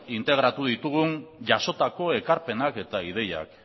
integratu ditugun jasotako ekarpenak eta ideiak